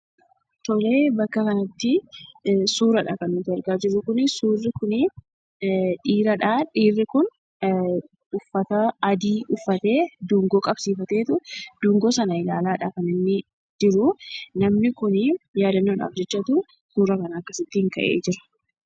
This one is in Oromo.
Tole bakka kanatti suuraa dha kan nuti argaa jirru, Suurri kun dhiira dha. Dhiirri kun uffata adii uffatee, dungoo qabsiifateetu dungoo sana ilaalaadha kan inni jiru. Namni kun yaadannoodhaaf jechatu suuraa kana akkasittiin ka'ee jira.